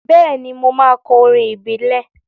Bẹ́ẹ̀ni, mo máa kọ orin ìbílẹ̀.